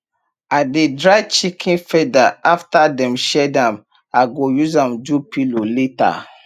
i dey dry chicken feather after dem shed am i go use am do pillow later